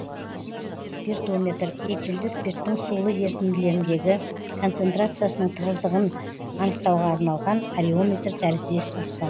спиртометр этилді спирттің сулы ерітінділеріндегі концентрациясының тығыздығын анықтауға арналған ареометр тәріздес аспап